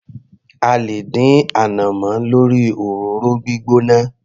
A lè dín ànàmọ́ lórí òróró gbígbóná.